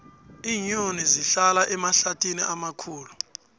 iinyoni zihlala emahlathini amakhulu